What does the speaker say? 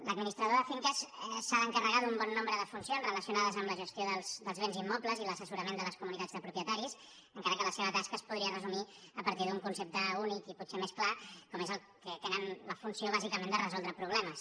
l’administrador de finques s’ha d’encarregar d’un bon nombre de funcions relacionades amb la gestió dels béns immobles i l’assessorament de les comunitats de propietaris encara que la seva tasca es podria resumir a partir d’un concepte únic i potser més clar com és que tenen la funció bàsica de resoldre problemes